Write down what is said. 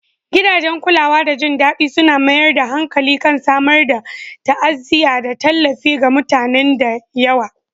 Gidajen kulawa da jin daɗi suna mayar da hankali kan samar da ta'aziyya da tallafi ga mutanen da yawa